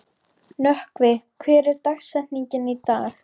Nökkvi, hver er dagsetningin í dag?